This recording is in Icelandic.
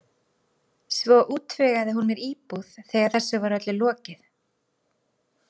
Svo útvegaði hún mér íbúð þegar þessu var öllu lokið.